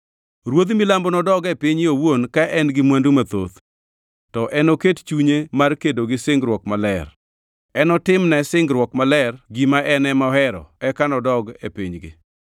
Ruodh Milambo nodog e pinye owuon ka en gi mwandu mathoth, to enoket chunye mar kedo gi singruok maler. Enotimne singruok maler gima en ema ohero eka nodog e pinygi.